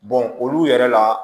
olu yɛrɛ la